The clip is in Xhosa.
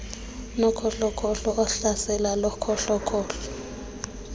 nokhohlokhohlo uhlaselo lokhohlokhohlo